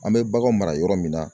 An bɛ bagan mara yɔrɔ min na.